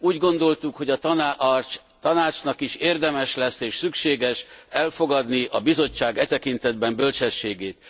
Úgy gondoltuk, hogy a Tanácsnak is érdemes lesz és szükséges elfogadni a Bizottság e tekintetbeli bölcsességét.